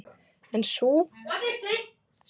En nú hafði sem sagt dregið til tíðinda af verra taginu.